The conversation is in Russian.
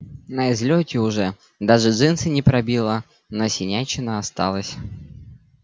на излёте уже даже джинсы не пробило но синячина остался